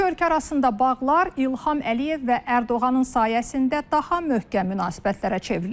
İki ölkə arasında bağlar İlham Əliyev və Ərdoğanın sayəsində daha möhkəm münasibətlərə çevrilib.